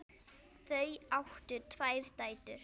Þau áttu tvær dætur.